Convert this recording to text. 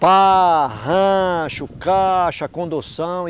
Pá, rancho, caixa, condução.